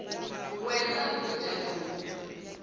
we na ku cinca loku